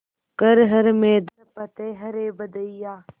कर हर मैदान फ़तेह रे बंदेया